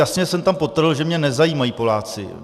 Jasně jsem tam podtrhl, že mě nezajímají Poláci.